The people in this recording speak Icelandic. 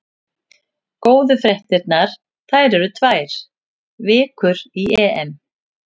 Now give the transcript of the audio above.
Góðu fréttirnar: það eru tvær vikur í EM.